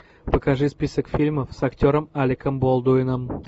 покажи список фильмов с актером алеком болдуином